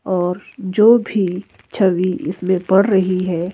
और जो भी छवि इसमें पड़ रही है।